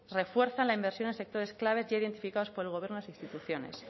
refuerzan la inversión en sectores clave ya identificados por el gobierno en las instituciones